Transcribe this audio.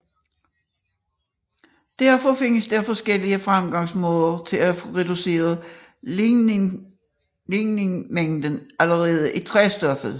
Derfor findes der forskellige fremgangsmåder til at få reduceret ligninmængden allerede i træstoffet